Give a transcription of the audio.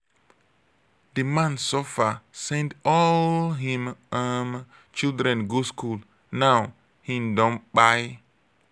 di man suffer send all him um children go skool now him don kpai.